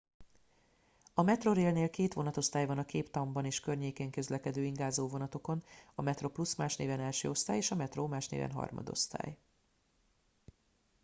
a metrorailnél két vonatosztály van a cape townban és környékén közlekedő ingázó vonatokon: a metroplus más néven első osztály és a metro más néven harmadosztály